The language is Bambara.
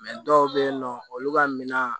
dɔw bɛ yen nɔ olu ka minan